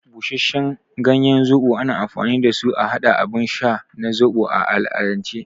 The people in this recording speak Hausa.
Busasshen ganyen zoɓo ana amfani dasu a haɗa abin sha na zoɓo a al'adance.